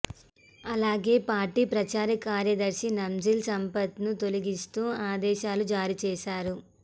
అలాగే పార్టీ ప్రచార కార్యదర్శి నాంజిల్ సంపత్ను తొలగిస్తూ ఆదేశాలు జారీ చేశారు